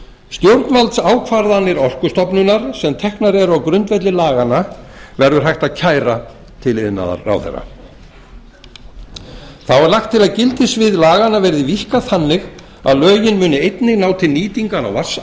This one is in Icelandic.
stjórnvaldsákvarðanir orkustofnunar sem teknar eru á grundvelli laganna verður hægt að kæra til iðnaðarráðherra þá er lagt til að gildissvið laganna er víkkað þannig að lögin muni einnig ná til nýtingar á